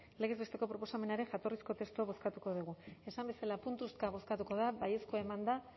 legez besteko proposamenaren jatorrizko testua bozkatuko dugu esan bezala puntuka bozkatuko da baiezkoa eman da